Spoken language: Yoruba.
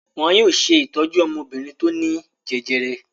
Wọn yóò ṣe ìtọ́jú ọmọbìnrin tó ní jẹjẹrẹ.